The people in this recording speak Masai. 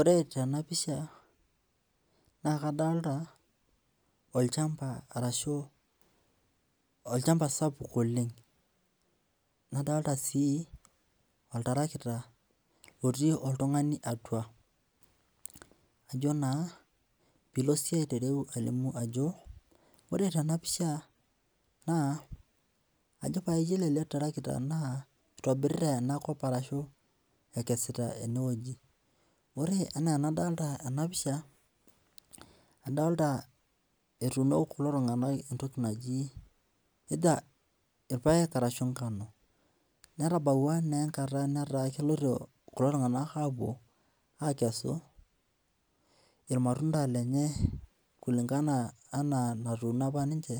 Ore tenapisha na kadolta olchamba arashu olchamba sapuk oleng nadolta si oltarakita otii oltungani atua najo na pilo alimu ajo ore tenapisha na yiolo ele tarakita na itobirita enakop ashu ekesita enewueji ore ena anadolta enapisha adolta etuuno kuli tunganak entoki naji irpaek ahu nkano netabakie taa enkata napoito kulo tunganak apuo akesu irmatunda lenye ana enatuuno ninch